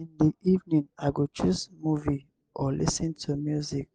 in the evening i go choose movie or lis ten to music